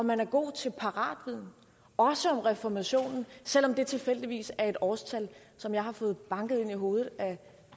man er god til paratviden også om reformationen selv om det tilfældigvis er et årstal som jeg har fået banket ind i hovedet af